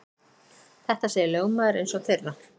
Þetta segir lögmaður eins þeirra.